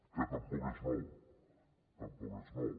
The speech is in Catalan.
que tampoc és nou tampoc és nou